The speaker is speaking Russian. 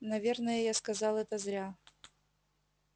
наверное я сказал это зря